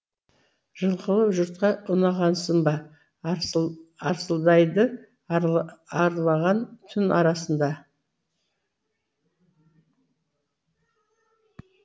жылқылы жұртқа ұнағасынба арсылдайды арылған түн арасында